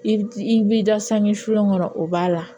I bi i b'i da sange sulen kɔnɔ o b'a la